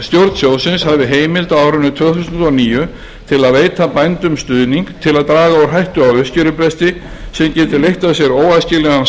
sjóðsins hafi heimild á árinu tvö þúsund og níu til að veita bændum stuðning til að draga úr hættu á uppskerubresti sem gæti leitt af sér óæskilegan